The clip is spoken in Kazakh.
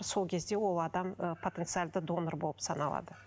сол кезде ол адам ы потенциалды донор болып саналады